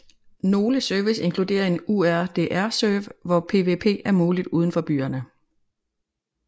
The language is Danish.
Nogle service inkludere en Urdr serve hvor PvP er muligt udenfor byerne